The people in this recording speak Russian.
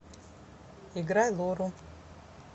играй лору